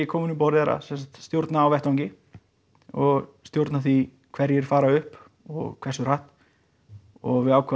kominn um borð er að stjórna á vettvangi og stjórna því hverjir fara upp og hversu hratt og við ákváðum